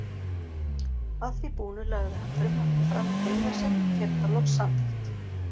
Að því búnu lagði hann frumvarpið fram í þriðja sinn og fékk það loks samþykkt.